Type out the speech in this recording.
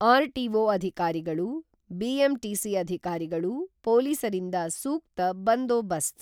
RTO ಅಧಿಕಾರಿಗಳು, BMTC ಅಧಿಕಾರಿಗಳು, ಪೊಲೀಸರಿಂದ ಸೂಕ್ತ ಬಂದೋಬಸ್ತ್.